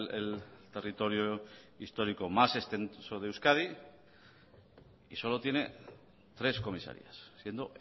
el territorio histórico más extenso de euskadi y solo tiene tres comisarías siendo